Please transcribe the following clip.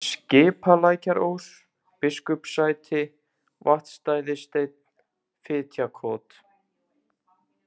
Skipalækjarós, Biskupssæti, Vatnsstæðissteinn, Fitjakot